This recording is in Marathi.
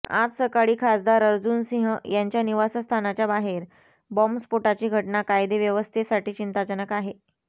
आज सकाळी खासदार अर्जुन सिंह यांच्या निवासस्थानाच्या बाहेर बॉम्बस्फोटाची घटना कायदेव्यवस्थेसाठी चिंताजनक आहे